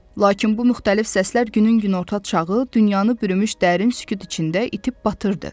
Lakin bu müxtəlif səslər günün günorta çağı, dünyanı bürümüş dərin sükut içində itib batırdı.